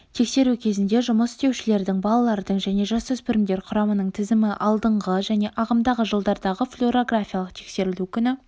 тексеру кезінде жұмыс істеушілердің балалардың және жасөспірімдер құрамының тізімі алдыңғы және ағымдағы жылдардағы флюорографиялық тексерілу күні